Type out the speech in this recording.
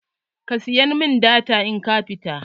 Ka saya mun data in ka fita.